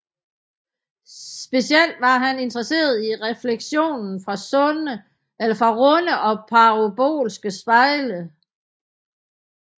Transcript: Specielt var han interesseret i refleksionen fra runde og parabolske spejle